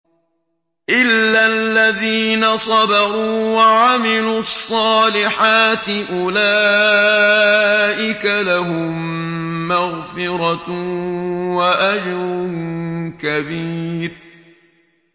إِلَّا الَّذِينَ صَبَرُوا وَعَمِلُوا الصَّالِحَاتِ أُولَٰئِكَ لَهُم مَّغْفِرَةٌ وَأَجْرٌ كَبِيرٌ